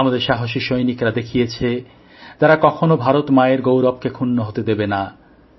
আমাদের সাহসী সৈনিকরা দেখিয়েছে তারা কখনও ভারত মায়ের গৌরবকে ক্ষুন্ন হতে দেবে না